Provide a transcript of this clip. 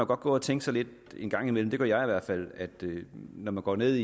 godt gå og tænke lidt en gang imellem det gør jeg i hvert fald at når man går ned